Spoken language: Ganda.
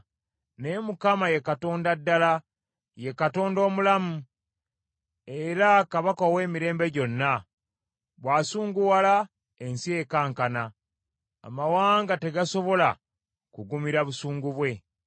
Naye Mukama ye Katonda ddala, ye Katonda omulamu, era Kabaka ow’emirembe gyonna. Bw’asunguwala, ensi ekankana, amawanga tegasobola kugumira busungu bwe.